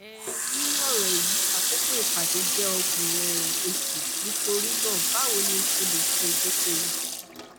um ninu oro eyi akoko ipade jẹ ọgbọn um oṣu nitorinaa bawo ni o ṣe le ṣe idokowo